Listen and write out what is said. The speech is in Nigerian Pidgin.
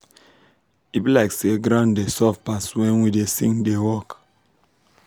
e be like ground da soft pass wen we da sing da work